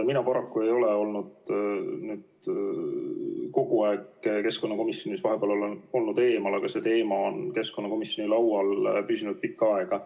Mina paraku ei ole olnud kogu aeg keskkonnakomisjonis, vahepeal olen olnud eemal, aga see teema on keskkonnakomisjoni laual püsinud pikka aega.